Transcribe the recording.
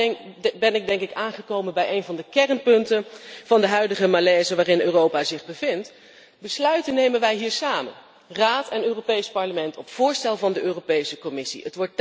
Daarbij ben ik aangekomen bij een van de kernpunten van de huidige malaise waarin Europa zich bevindt besluiten nemen wij hier samen, Raad en Europees Parlement op voorstel van de Europese Commissie.